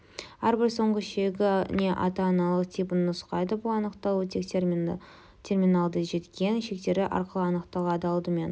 әрбір соңғы шегіне ата аналық типін нұсқайды бұл анықталу тек терминалды жеткен шектері арқылы анықталынады алдымен